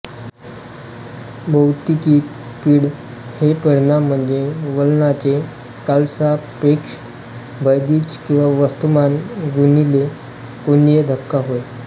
भौतिकीत पीळ हे परिमाण म्हणजे वलनाचे कालसापेक्ष भैदिज किंवा वस्तुमान गुणिले कोनीय धक्का होय